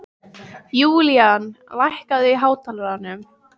Julian, lækkaðu í hátalaranum.